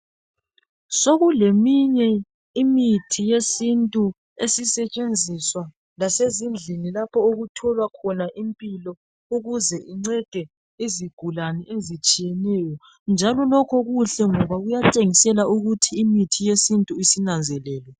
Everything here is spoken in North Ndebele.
Sokuleminye imithi yesintu esisetshenziswa lasezindlini lapho okutholwa khona impilo ukuze incede izigulane ezitshiyeneyo njalo lokhu kuhle ngoba kuyatshengisela ukuthi imithi yesintu isinanzelelwe.